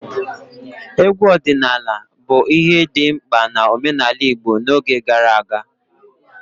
Egwu ọdịnala bụ ihe dị mkpa na omenala Igbo n'oge gara aga.